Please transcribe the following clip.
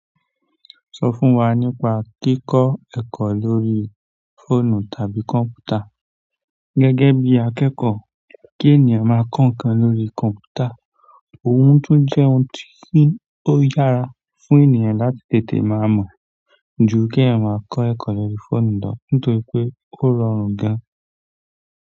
Sọ fún wa nípa kíkọ ẹ̀kọ́ lórí fóònù tàbí kọ̀m̀pútà. Gẹ́gẹ́ bí akẹ́kọ̀ọ́, kí ènìyàn máa kọ́ ǹkan lórí kọ̀m̀pútà òún tún jẹ́ ohun tí ó yára fún ènìyàn láti tètè máa mọ̀ ju kí èèyàn máa kọ́ ẹ̀kọ́ lórí fóònù lọ nítorí pé ó rọrùn gan.